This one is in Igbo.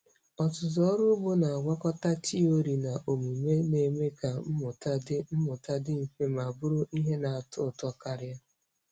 Ọzụzụ ọrụ ugbo na-agwakọta tiori na omume, na-eme ka mmụta dị mmụta dị mfe ma bụrụ ihe na-atọ ụtọ karị.